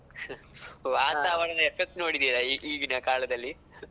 ವಾತಾವರಣ effect ನೋಡಿದ್ದೀಯಾ? ಈಗಿನ ಕಾಲದಲ್ಲಿ.